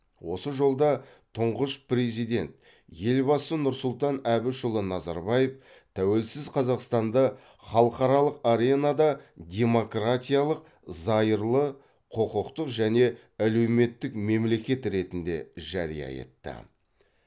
осы жолда тұңғыш президент елбасы нұрсұлтан әбішұлы назарбаев тәуелсіз қазақстанды халықаралық аренада демократиялық зайырлы құқықтық және әлеуметтік мемлекет ретінде жария етті